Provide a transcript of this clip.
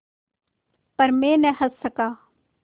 पर मैं न हँस सका